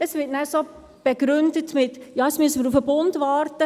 Es wird gesagt, man müsse auf den Bund warten.